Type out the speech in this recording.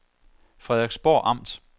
Frederiksborg Amt